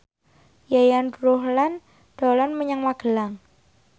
Yayan Ruhlan dolan menyang Magelang